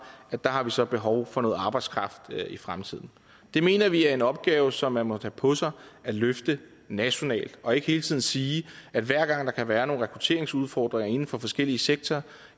at der har vi så behov for noget arbejdskraft i fremtiden det mener vi er en opgave som man må tage på sig at løfte nationalt og ikke hele tiden sige at hver gang der kan være nogle rekrutteringsudfordringer inden for forskellige sektorer